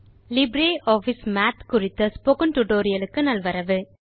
LibreOffice Math குறித்த spoken tutorial க்கு நல்வரவு